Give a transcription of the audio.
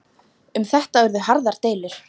Um þetta urðu harðar deilur.